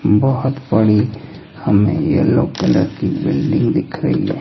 बहोत बड़ी हमे येलो कलर की बिल्डिंग दिख रही है।